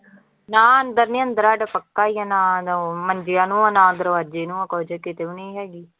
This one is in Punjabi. ਨਾ ਅੰਦਰ ਨੀ ਅੰਦਰ ਸਾਡੇ ਪੱਕਾ ਹੀ ਹੈ ਨਾ ਨ ਮੰਜਿਆਂ ਨੂੰ ਆਂ ਨਾ ਦਰਵਾਜੇ ਨੂੰ ਆਂ, ਕੁੱਝ ਕਿਤੇ ਵੀ ਨੀ ਹੈਗੀ।